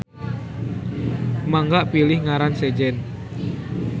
Mangga pilih ngaran sejen.